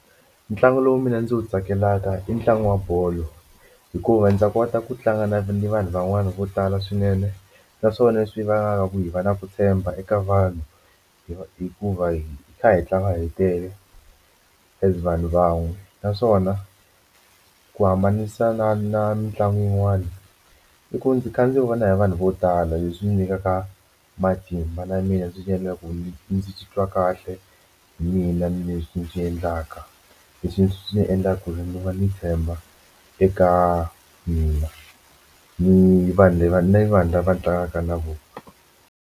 Ntlangu lowu mina ndzi wu tsakelaka i ntlangu wa bolo hikuva ndza kota ku tlanga ni vanhu van'wana vo tala swinene naswona leswi vangaka ku hi va na ku tshemba eka vanhu hi hikuva hi kha hi tlanga hi tele as vanhu van'we naswona ku hambanisa na na mitlangu yin'wani i ku ndzi kha ndzi vona hi vanhu vo tala leswi nyikaka matimba na mina swi ndzi titwa kahle ndzi mina ni leswi swi endlaka leswi swi endlaka ku ndzi va ndzi tshemba eka mina ni vanhu lava ni vanhu lava tlangaka na vona.